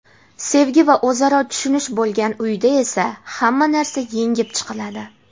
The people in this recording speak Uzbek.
Sevgi va o‘zaro tushunish bo‘lgan uyda esa – hamma narsa yengib chiqiladi.